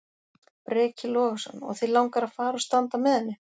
Breki Logason: Og þig langar að fara og standa með henni?